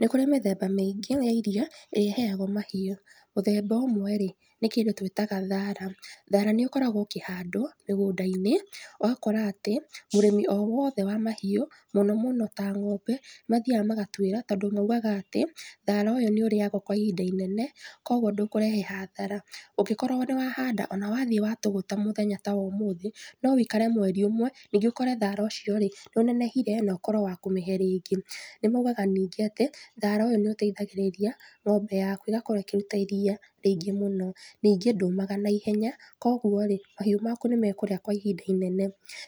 Nĩkũrĩ mĩthemba mĩingĩ ya irio ĩrĩa ĩheagwo mahiũ mũthemba ũmwe rĩ, nĩ kĩndũ twĩtaga thara, thara nĩũkoragwo ũkĩhandwo mĩgũnda-inĩ ũgakora atĩ mũrĩmi o wothe wa mahiũ mũno mũno ta ng’ombe nĩmathiaga magatuĩra tondũ maugaga atĩ thara ũyũ nĩũrĩagwo kwa ihinda inene koguo ndũkũrehe hathara ũngĩkorwo nĩwahanda ona wathiĩ watũgũta mũthenya ta wa ũmũthi no wĩkare mweri ũmwe ningĩ ũkore thara ũcio rĩ nĩũnenehire nokorwo wa kũmĩhe rĩngĩ, nĩmaugaga ningĩ atĩ thara ũyũ nĩũteithagĩrĩria ng'ombe yaku ĩgakorwo ĩkĩruta iria rĩingĩ mũno, ningĩ ndũmaga na ihenya koguo rĩ mahiũ maku nĩmekũrĩa kwa ihinda inene